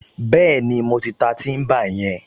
Bẹ́ẹ̀ni, mo ti ta tíḿbà yẹn